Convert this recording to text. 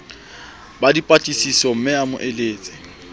ba dipatlisisomme a mo eletse